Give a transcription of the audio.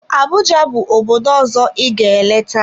Abuja bụ obodo ọzọ ị ga-eleta.